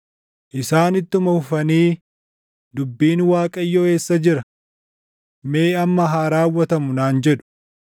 Isaan ittuma fufanii, “Dubbiin Waaqayyoo eessa jira? Mee amma haa raawwatamu!” naan jedhu.